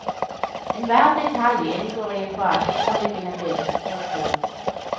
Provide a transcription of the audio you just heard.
Enhver detalj inngår i en bakenforliggende billedstruktur.